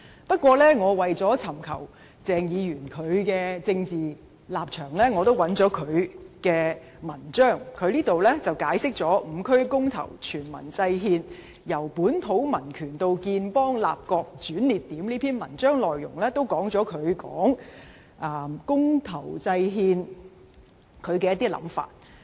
不過，為尋求鄭議員的政治立場，我也找到他一篇題為"'五區公投、全民制憲'：由本土民權到建邦立國的轉捩點"的文章，文章內容也表達了他對公投制憲的一些想法。